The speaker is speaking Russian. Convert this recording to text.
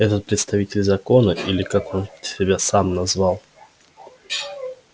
этот представитель закона или как он там себя назвал